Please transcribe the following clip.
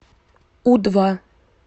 у два